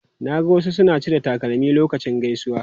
Na ga wasu suna cire takalmi lokacin gaisuwa.